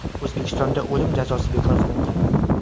O‘zbekistonda o‘lim jazosi bekor qilingan.